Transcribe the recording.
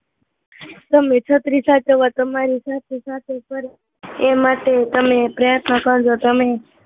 તમે એવા છત્રી એવા તમારી સાથે સાથે કરે એ માટે તમે પ્રયત્ન કરજો